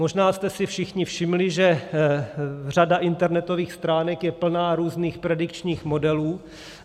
Možná jste si všichni všimli, že řada internetových stránek je plná různých predikčních modelů.